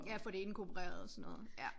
Ja at få det inkorporeret og sådan noget ja